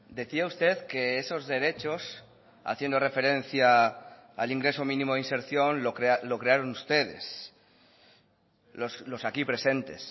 decía usted que esos derechos haciendo referencia al ingreso mínimo de inserción lo crearon ustedes los aquí presentes